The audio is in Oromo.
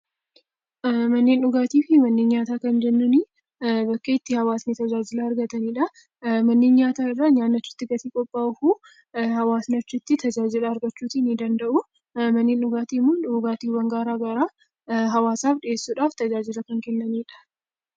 Manneen dhugaatii fi manneen nyaataa kan jennuun bakka itti hawaasni tajaajila argatanidha. Manneen nyaataa irraa nyaatni achi keessatti qophaa'u, hawaasni achitti tajaajila argatu ni danda'u. Manneen dhugaatii immoo dhugaatiiwwan garaa garaa hawaasaaf dhiyeessuudhaaf tajaajila kan kennanidha.